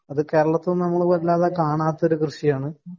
അത് കേരളത്തിൽ നിന്ന് നമ്മൾ കാണാത്ത ഒരു കൃഷിയാണ്